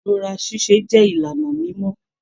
Ibúra ṣiṣe jẹ ìlànà mimọ.